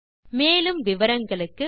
மேற்கொண்டு விவரங்கள் வலைத்தளத்தில் கிடைக்கும்